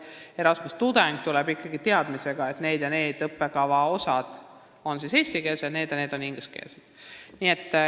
Erasmuse tudeng tuleb siia ikkagi teadmisega, et need ja need õppekava osad on eestikeelsed, aga need ja need on ingliskeelsed.